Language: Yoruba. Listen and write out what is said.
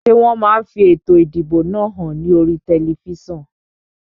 Ṣé wọn máa fi ètò ìdìbò náà hàn ní oríi tẹlifísàn?